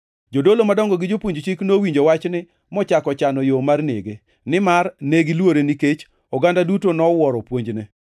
Jodolo madongo gi jopuonj chik nowinjo wachni mochako chano yo mar nege, nimar ne giluore nikech oganda duto nowuoro puonjne.